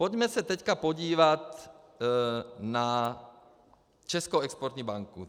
Pojďme se teďka podívat na Českou exportní banku.